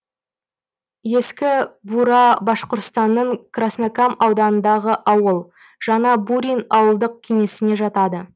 ескі бура башқұртстанның краснокам ауданындағы ауыл жаңа бурин ауылдық кеңесіне жатады